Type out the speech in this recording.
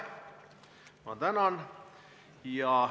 Ma tänan!